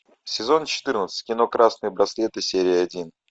сезон четырнадцать кино красные браслеты серия один